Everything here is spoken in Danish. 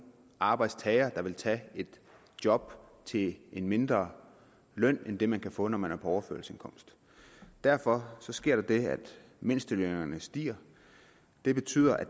arbejdstager der vil tage et job til en mindre løn end det man kan få når man er på overførselsindkomst derfor sker der det at mindstelønnen stiger det betyder at